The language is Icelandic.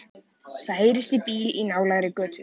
Það heyrist í bíl í nálægri götu.